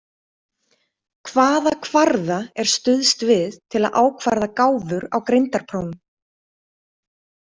Hvaða kvarða er stuðst við til að ákvarða gáfur á greindarprófum?